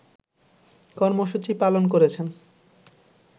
কর্মসূচি পালন করেছেন